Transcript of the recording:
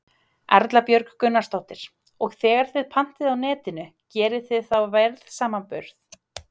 Erla Björg Gunnarsdóttir: Og þegar þið pantið á Netinu, gerið þið þá verðsamanburð?